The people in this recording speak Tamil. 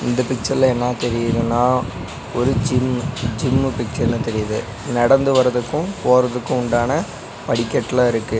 இந்த பிச்சர்ல என்னா தெரியிதுன்னா ஒரு ஜிம் ஜிம்மு பிச்சர்ல தெரிது நடந்து வர்ரதுக்கு போறதுக்கு உண்டான படிக்கட்லா இருக்கு.